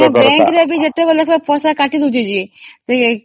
ସେ ତ ଯେତେବେଳ ନାଇ ସେତେବେଳେ ପଇସା କାଟି